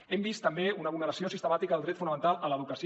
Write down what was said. hem vist també una vulneració sistemàtica del dret fonamental a l’educació